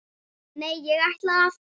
Nei, ég ætla að.